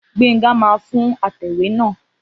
Gbenga máa fún atẹ̀wé náà